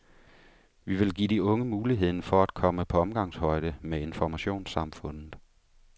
Vi vil give de unge muligheden for at komme på omgangshøjde med informationssamfundet.